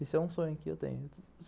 Esse é um sonho que eu tenho.